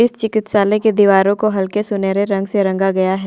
इस चिकित्सालय के दीवारो को हल्के सुनहरे रंग से रंगा गया है।